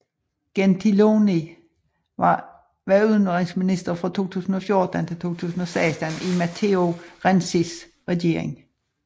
Gentiloni var udenrigsminister fra 2014 til 2016 i Matteo Renzis regering